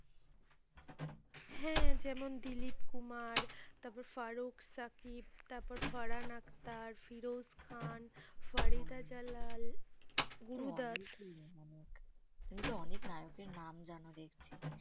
হ্যাঁ, যেমন দিলীপ কুমার তারপর ফারুক সাকিব তারপর ফারহান আক্তার, ফিরোজ খান, ফরিতা জালাল গুরুদাস তুমি তো অনেক নায়কের নাম জানো দেখছি।